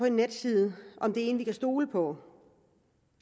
en netside om det er en vi kan stole på